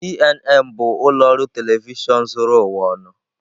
CNN bụ ụlọ ọrụ telivishọn zuru ụwa ọnụ.